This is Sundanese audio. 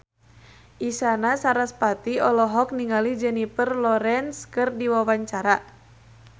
Isyana Sarasvati olohok ningali Jennifer Lawrence keur diwawancara